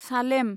Salem